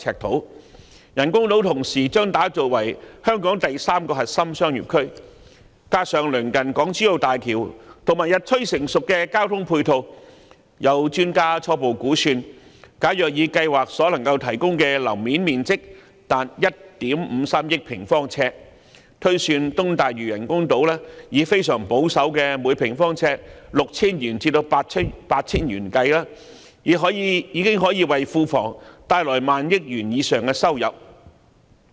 同時，人工島將打造成香港第三個核心商業區，加上鄰近港珠澳大橋及日趨成熟的交通配套，有專家初步估算，如果以計劃所能夠提供達1億 5,300 萬平方呎的樓面面積推算，並以東大嶼人工島非常保守的每平方呎 6,000 元至 8,000 元計算，已可以為庫房帶來上萬億元的收入。